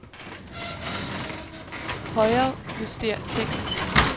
Højrejuster tekst.